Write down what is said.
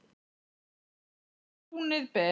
Umferð gegnum túnið ber.